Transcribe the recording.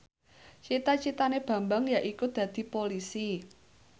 cita citane Bambang yaiku dadi Polisi